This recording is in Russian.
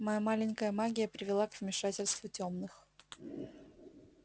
твоя маленькая магия привела к вмешательству тёмных